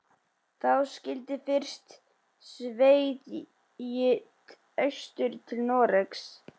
Þá skyldi fyrst sveigt austur til Noregs.